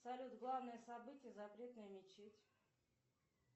салют главное событие запретная мечеть